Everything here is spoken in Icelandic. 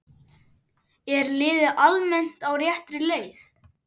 Er liðið almennt á réttri leið?